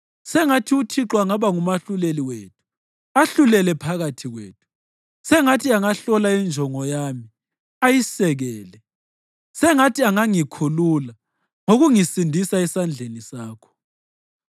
Sengathi uThixo angaba ngumahluleli wethu ahlulele phakathi kwethu. Sengathi angahlola injongo yami ayisekele; sengathi angangikhulula ngokungisindisa esandleni sakho.”